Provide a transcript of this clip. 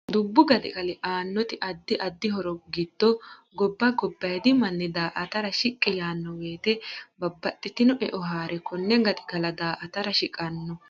Dubbu gaxigali aannoti addi addi horo giddo gobba gobayiidi manni daa'tara shiqqi yaanno woyiite babbaxitino e'o haare konne gaxigala daa'tara shiqqanno